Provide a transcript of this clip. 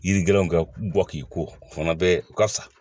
Yiri gɛlɛnw ka bɔ k'i ko o fana bɛ u ka sa